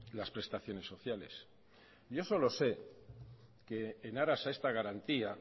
las prestaciones sociales yo solo sé que en aras a esta garantía